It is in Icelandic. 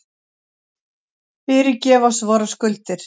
Fyrirgef oss vorar skuldir,